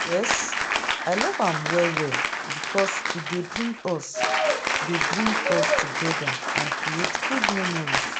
Yes, i dey love am well well, because e dey bring us dey bring us together and create memories.